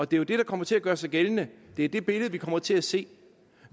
det er jo det der kommer til at gøre sig gældende det er det billede vi kommer til at se